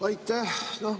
Aitäh!